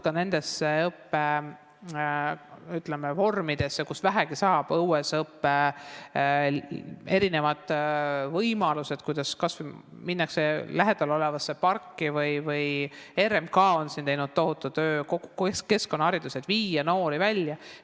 Kasutatakse neid õppevorme, kus see on vähegi võimalik: õuesõppe eri võimalused, kas või minnakse lähedal olevasse parki, RMK on teinud ära tohutu töö keskkonnahariduses, et viia noori välja.